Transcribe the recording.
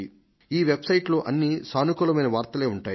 ఈ వెబ్సైట్లో అన్ని సానుకూలమైన వార్తలే ఉంటాయి